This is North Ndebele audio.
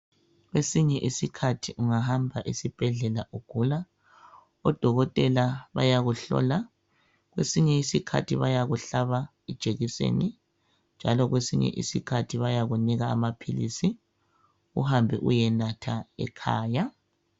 Esinye isikhathi ungahamba esibhedlela ugula odokotela bayakuhlola kwesinye isikhathi bayakuhlaba ijekiseni njalo kwesinye isikhathi bayakunika amaphilisi uhambe uyenatha ekhaya